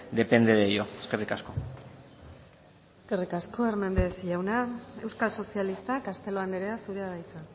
depende de ello eskerrik asko eskerrik asko hernández jauna euskal sozialistak castelo andrea zurea da hitza